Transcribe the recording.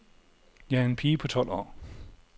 Jeg er en pige på tolv år.